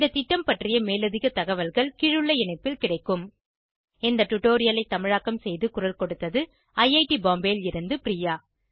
இந்த திட்டம் பற்றிய மேலதிக தகவல்கள் கீழுள்ள இணைப்பில் கிடைக்கும் இந்த டுடோரியலை தமிழாக்கம் செய்து குரல் கொடுத்தது ஐஐடி பாம்பேவில் இருந்து பிரியா